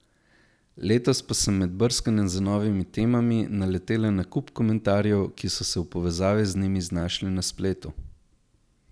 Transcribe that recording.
Letos pa sem med brskanjem za novimi temami, naletela na kup komentarjev, ki so se v povezavi z njim znašli na spletu.